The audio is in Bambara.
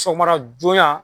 Sɔgɔmada joona